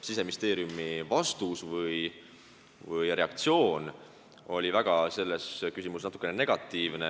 Siseministeeriumi vastus või reaktsioon selles küsimuses oli natukene negatiivne,